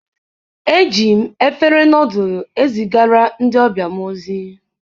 ejighị m efere nọdụlụ ezigara ndị ọbịa m ozi.